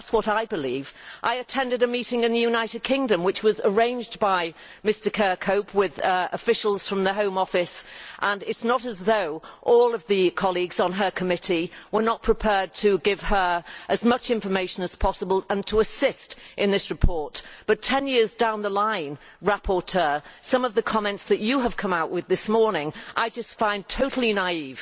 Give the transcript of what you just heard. That is what I believe. I attended a meeting in the United Kingdom which was arranged by Mr Kirkhope with officials from the Home Office. It is not as though all the colleagues on her committee were not prepared to give her as much information as possible and to assist in this report, but 10 years down the line, rapporteur, some of the comments that you have come out with this morning I just find totally naïve.